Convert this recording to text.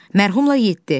Mərhumla yeddi.